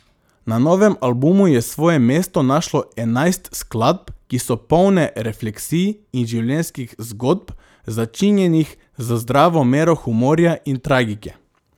Na novem albumu je svoje mesto našlo enajst skladb, ki so polne refleksij in življenjskih zgodb, začinjenih z zdravo mero humorja in tragike.